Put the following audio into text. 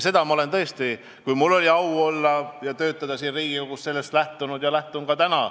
Sellest lähtusin ma siis, kui mul oli au olla ja töötada siin Riigikogus, ja lähtun oma töös sellest ka täna.